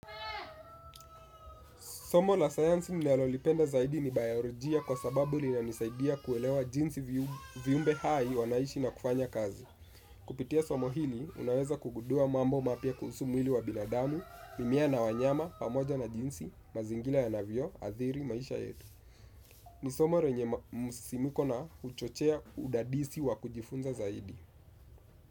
Somo la sayansi ninalolipenda zaidi ni bayolojia kwa sababu linanisaidia kuelewa jinsi viumbe hai wanaishi na kufanya kazi. Kupitia somo hili, unaweza kugundua mambo mapya kuhusu mwili wa binadamu, mimea na wanyama, pamoja na jinsi, mazingira yanavyoathiri maisha yetu. Ni somo lenye msisimko na huchochea udadisi wa kujifunza zaidi.